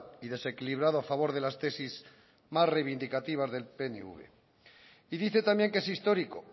y desequilibrado a favor de las tesis más reivindicativas del pnv y dice también que es histórico